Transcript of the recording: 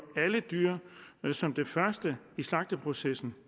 alle dyr som det første i slagteprocessen